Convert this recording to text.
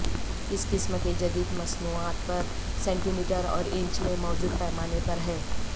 اس قسم کے جدید مصنوعات پر سینٹی میٹر اور انچ میں موجود پیمانے پر ہے